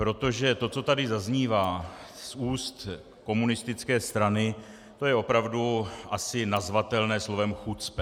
Protože to, co tady zaznívá z úst komunistické strany, to je opravdu asi nazvatelné slovem chucpe.